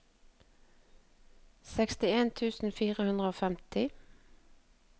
sekstien tusen fire hundre og femti